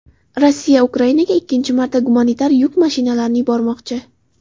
Rossiya Ukrainaga ikkinchi marta gumanitar yuk mashinalarini yubormoqchi.